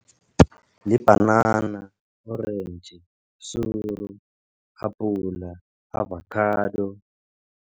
Libhanana, orentji, suru, apula, avakhado.